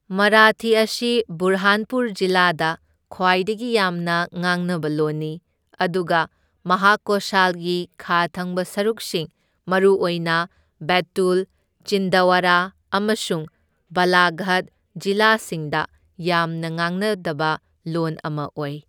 ꯃꯥꯔꯥꯊꯤ ꯑꯁꯤ ꯕꯨꯔꯍꯥꯟꯄꯨꯔ ꯖꯤꯂꯥꯗ ꯈ꯭ꯋꯥꯏꯗꯒꯤ ꯌꯥꯝꯅ ꯉꯥꯡꯅꯕ ꯂꯣꯟꯅꯤ, ꯑꯗꯨꯒ ꯃꯍꯥꯀꯣꯁꯥꯜꯒꯤ ꯈꯥ ꯊꯪꯕ ꯁꯔꯨꯛꯁꯤꯡ, ꯃꯔꯨꯑꯣꯏꯅ ꯕꯦꯇꯨꯜ, ꯆꯤꯟꯗꯋꯥꯔꯥ ꯑꯃꯁꯨꯡ ꯕꯥꯂꯥꯘꯥꯠ ꯖꯤꯂꯥꯁꯤꯡꯗ ꯌꯥꯝꯅ ꯉꯥꯡꯅꯗꯕ ꯂꯣꯟ ꯑꯃ ꯑꯣꯏ꯫